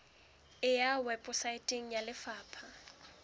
e ya weposaeteng ya lefapha